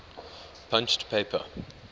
punched paper